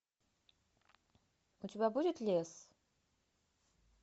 у тебя будет лес